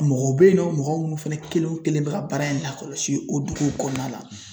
Mɔgɔw bɛ yen nɔ mɔgɔ minnu fana kelen o kelen bɛ ka baara in lakɔlɔsi o duguw kɔnɔna la.